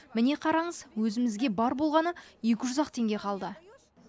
міне қараңыз өзімізге бар болғаны екі жүз ақ теңге қалды